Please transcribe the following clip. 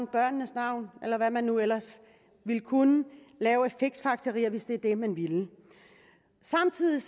børnenes navn eller hvad man nu ellers vil kunne lave af fiksfakserier hvis det er det man vil samtidig